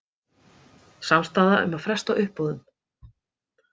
Samstaða um að fresta uppboðum